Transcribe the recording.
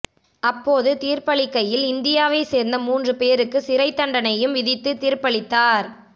அப்போது தீர்ப்பளிகையில் இந்தியாவை சேர்ந்த மூன்று பேருக்கு சிறை தண்டனையும் விதித்து தீர்ப்பளித்தார்